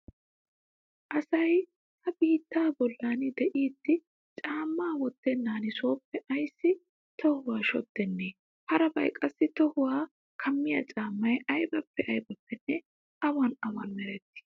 Asay ha biittaa bollan de'iiddi caammaa wottennan sooppe ayssi tohuwa shoddennee? Harabay qassi tohuwa kammiya caammay aybippe aybippenne awan awan merettii?